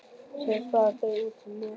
Síðast fara þau út á Nes.